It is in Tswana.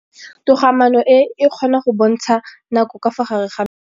Toga-maanô e, e kgona go bontsha nakô ka fa gare ga metsi.